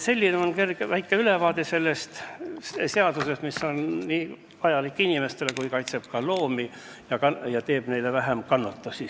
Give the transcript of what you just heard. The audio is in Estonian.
See on väike ülevaade sellest seadusest, mis on vajalik inimestele, aga kaitseb ka loomi, nii et neile põhjustataks vähem kannatusi.